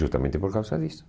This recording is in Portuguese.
Justamente por causa disso.